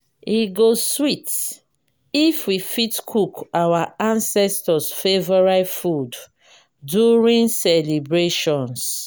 e go sweet if we fit cook our ancestors’ favorite food during celebrations.